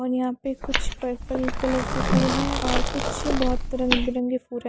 और यहाँ पे कुछ पर्पल कलर के फूल हैं और कुछ बहुत रंग बिरंगे फूल हैं।